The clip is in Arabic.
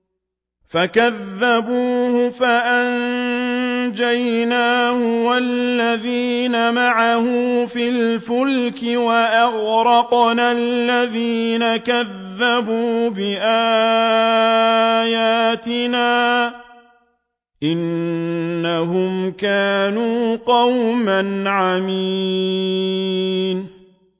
فَكَذَّبُوهُ فَأَنجَيْنَاهُ وَالَّذِينَ مَعَهُ فِي الْفُلْكِ وَأَغْرَقْنَا الَّذِينَ كَذَّبُوا بِآيَاتِنَا ۚ إِنَّهُمْ كَانُوا قَوْمًا عَمِينَ